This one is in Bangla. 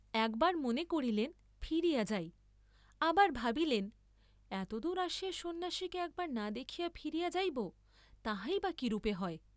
একবার মনে করিলেন, ফিরিয়া যাই, আবার ভাবিলেন, এতদূর আসিয়া সন্ন্যাসীকে একবার না দেখিয়া ফিরিয়া যাইব তাহাই বা কিরূপে হয়।